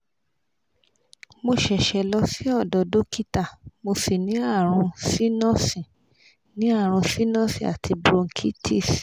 mo sese lọ sí odo dókítà mo sì ní àrùn sinus ní àrùn sinus àti bronchitis